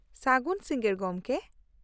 ᱥᱟᱹᱜᱩᱱ ᱥᱤᱸᱜᱟᱹᱲ, ᱜᱚᱝᱠᱮ !